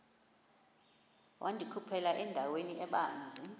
wandikhuphela endaweni ebanzi